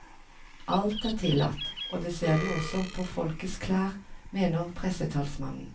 Alt er tillatt, og det ser du også på folks klær, mener pressetalsmannen.